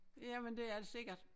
Jamen det er det sikkert